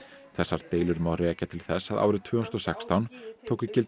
þessar deilur má rekja til þess að árið tvö þúsund og sextán tóku gildi